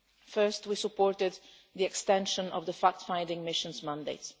First, we supported the extension of the fact finding mission's mandate.